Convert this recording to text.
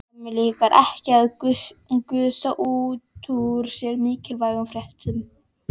Mömmu líkar ekki að gusa út úr sér mikilvægum fréttum.